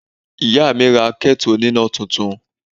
Ìyá mi ra ketu oníná túntún.